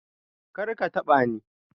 Kar ka taɓa ni!